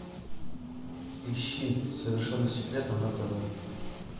ищи совершенно секретно на тв